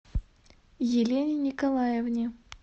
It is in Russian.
елене николаевне